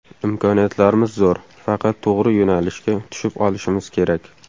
Imkoniyatlarimiz zo‘r, faqat to‘g‘ri yo‘nalishga tushib olishimiz kerak.